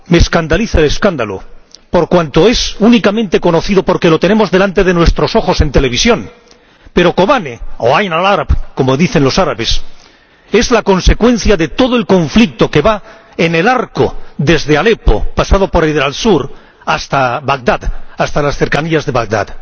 Me escandaliza el escándalo, por cuanto es únicamente conocido porque lo tenemos delante de nuestros ojos en televisión. Pero Kobane —o Ain al Arab, como dicen los árabes— es la consecuencia de todo el conflicto existente en el arco que va desde Alepo, pasando por Deir ez Zor, hasta Bagdad, hasta las cercanías de Bagdad.